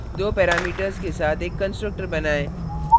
दो parameters के साथ एक constructor बनाएँ